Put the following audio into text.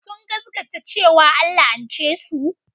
Sun gaskata cewa an la'ance su.